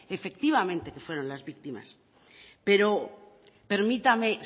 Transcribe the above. efectivamente que fueron las víctimas pero permítame